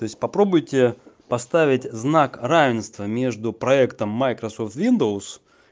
то есть попробуйте поставить знак равенства между проектом майкрософт виндоуз